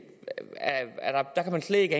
man slet ikke